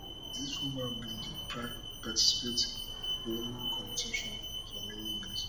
dis woman bin dey participate for women competition for many years